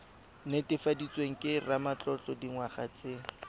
netefaditsweng ke ramatlotlo dingwaga tse